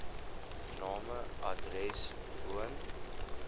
name adres woon